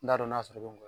N t'a dɔn n'a sɔrɔ ngo